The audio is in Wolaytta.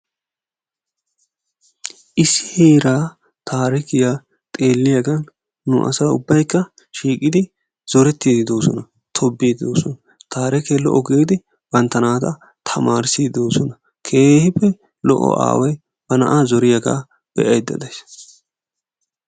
Issi heeraa tarikiyaa xeeliyagan nu asa ubbaykka shiiqqidi zorettidi deosona; tobbiiddi de'oosona. tarikee lo''o giidi bantta naata tamarissiiddi de'oosona. keehippe lo'o aaway ba na'aa zooriyaga beayda deays.